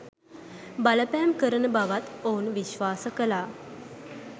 බලපෑම් කරන බවත් ඔවුන් විශ්වාස කළා.